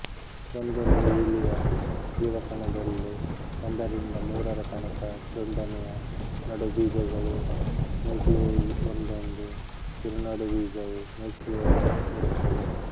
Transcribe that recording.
ಒಂದೊಂದು ಈಲಿಯ ಜೀವಕಣದಲ್ಲೂ ಒಂದರಿಂದ ಮೂರರ ತನಕ ದುಂಡನೆಯ ನಡುಬೀಜಗಳೂ ನ್ಯೂಕ್ಲಿಯೈ ಒಂದೊಂದು ಕಿರುನಡುಬೀಜವೂ ನ್ಯೂಕ್ಲಿಯೋಲಸ್ ಇರುತ್ತವೆ